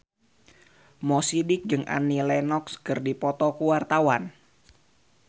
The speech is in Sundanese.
Mo Sidik jeung Annie Lenox keur dipoto ku wartawan